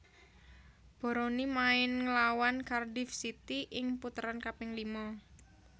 Boroni main nglawan Cardiff City ing puteran kaping lima